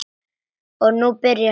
Og nú byrjaði hún.